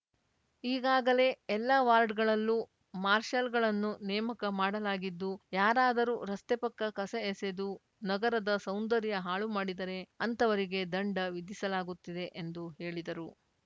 ಈಗಾಗಲೇ ಎಲ್ಲ ವಾರ್ಡ್‌ಗಳಲ್ಲೂ ಮಾರ್ಷಲ್‌ಗಳನ್ನು ನೇಮಕ ಮಾಡಲಾಗಿದ್ದು ಯಾರಾದರೂ ರಸ್ತೆ ಪಕ್ಕ ಕಸ ಎಸೆದು ನಗರದ ಸೌಂದರ್ಯ ಹಾಳು ಮಾಡಿದರೆ ಅಂತವರಿಗೆ ದಂಡ ವಿಧಿಸಲಾಗ್ತುತಿದೆ ಎಂದು ಹೇಳಿದರು